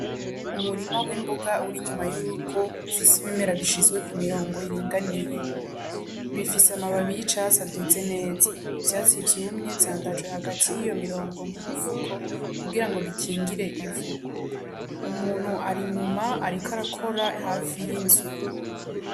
Umurima w'imboga uri inyuma y'urugo, ufise ibimera bishizwe ku mirongo iringaniye. Bifise amababi y'icatsi aduze neza. Ivyatsi vyumye vyandazwe hagati y'iyo mirongo nk'umufuko kugira ngo bikingire ivu. Umuntu ari inyuma ariko arakora hafi y'inzu.